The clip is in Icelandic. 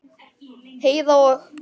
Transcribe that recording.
Heiða og